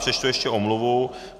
Přečtu ještě omluvu.